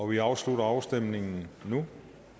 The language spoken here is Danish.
vi afslutter afstemningen nu